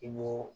I b'o